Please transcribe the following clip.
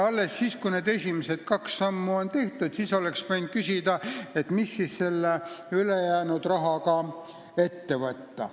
Alles siis, kui need esimesed kaks sammu oleksid tehtud, oleks võinud küsida, mis selle ülejäänud rahaga ette võtta.